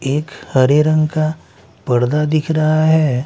एक हरे रंग का पर्दा दिख रहा हैं ।